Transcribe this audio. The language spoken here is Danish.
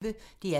DR P1